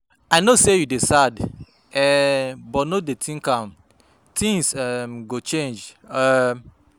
I no say you dey sad um but no dey think am things um go change um